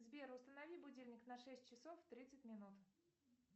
сбер установи будильник на шесть часов тридцать минут